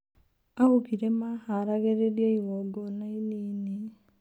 Augire maharagĩrĩria igongona inini.